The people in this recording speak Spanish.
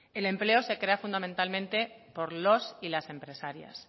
el empleo se crea fundamentalmente por los y las empresarias